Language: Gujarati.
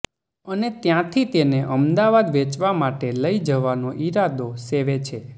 અને ત્યાંથી તેને અમદાવાદ વેચવા માટે લઈ જવાનો ઈરાદો સેવે છે